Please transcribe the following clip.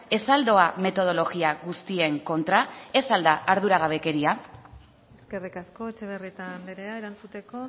ez al doa metodologia guztien kontra ez al da arduragabekeria eskerrik asko etxebarrieta andrea erantzuteko